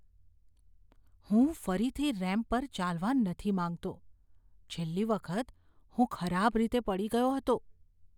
હું ફરીથી રેમ્પ પર ચાલવા નથી માંગતો. છેલ્લી વખત હું ખરાબ રીતે પડી ગયો હતો.